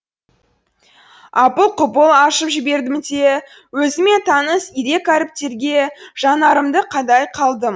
апыл құпыл ашып жібердім де өзіме таныс ирек әріптерге жанарымды қадай қалдым